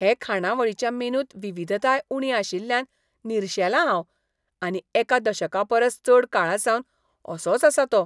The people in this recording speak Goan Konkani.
हे खाणावळीच्या मेनूंत विविधताय उणी आशिल्ल्यान निरशेलां हांव आनी एका दशकापरस चड काळासावन असोच आसा तो.